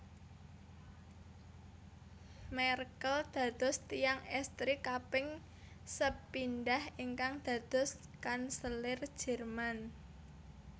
Merkel dados tiyang èstri kaping sepindhah ingkang dados Kanselir Jerman